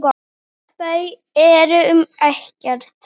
Þau eru um Ekkert.